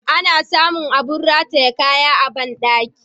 Ana sa mun abin rataye kaya a bandaki.